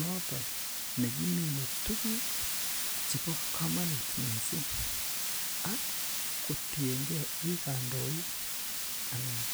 noton nekimine tuguk chebo komonut mising ak kotiengee i kandoin anan